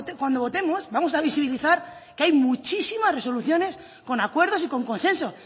cuando votemos vamos a visibilizar que hay muchísimas resoluciones con acuerdos y con consenso